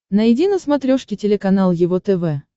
найди на смотрешке телеканал его тв